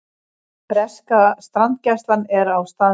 Breska strandgæslan er á staðnum